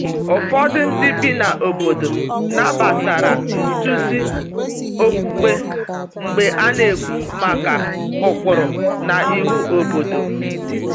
Ụfọdụ ndị bi na obodo nabatara nduzi okpukpe mgbe a na-ekwu maka ụkpụrụ na iwu obodo.